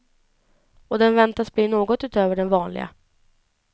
Och den väntas bli något utöver det vanliga.